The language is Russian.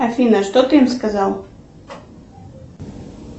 афина что ты им сказал